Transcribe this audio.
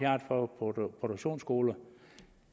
for produktionsskolerne